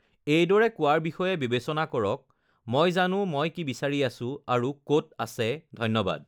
"এইদৰে কোৱাৰ বিষয়ে বিবেচনা কৰক, ""মই জানো মই কি বিচাৰি আছোঁ আৰু ক'ত আছে, ধন্যবাদ!"""